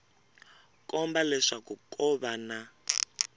komba leswaku ko va na